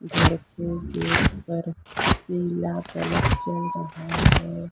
घर पे जो पीला कलर जल रहा है।